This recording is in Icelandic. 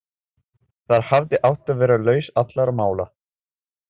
Þar hafði átt að vera lausn allra mála.